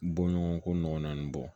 Bɔɲɔgɔnko nɔgɔ naani bɔ